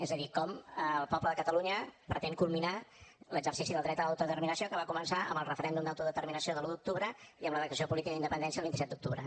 és a dir com el poble de catalunya pretén culminar l’exercici del dret a l’autodeterminació que va començar amb el referèndum d’autodeterminació de l’un d’octubre i amb la declaració política d’independència del vint set d’octubre